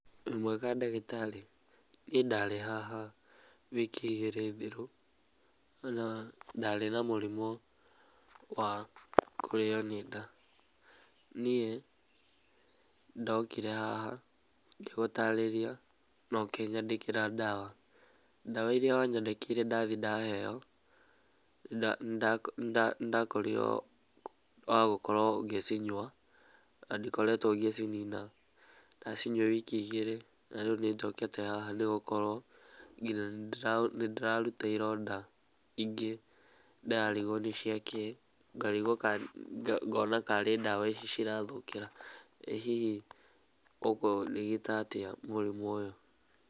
Wĩ mwega ndagĩtarĩ? Niĩ ndarĩ haha wiki igĩrĩ thiru na ndarĩ na mũrimũ wa kũrĩo nĩ nda, niĩ ndokire haha na ngĩgũtarĩria na ũkĩnyandĩkĩra ndawa, ndawa iria wanyandĩkĩire ndathie ndaheo, nĩ ndakorirwo wagũkorwo ngĩcinyua na ndikoretwo ngĩcinina, ndacinyua wiki igĩri, na rĩu nĩnjokete haha nĩ gũkorwo nginya nĩndĩraruta ironda ingĩ ndĩrarigwo nĩciakĩ, ngarigwo kana ngona tarĩ ndawa icio cirathũkĩra, ĩ hihi ũkũrigita atĩa mũrimũ ũyũ?